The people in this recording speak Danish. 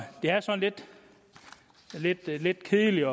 det er sådan lidt lidt kedeligt